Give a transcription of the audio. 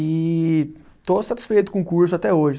E estou satisfeito com o curso até hoje.